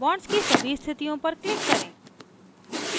bond की सभी स्थितियों पर click करें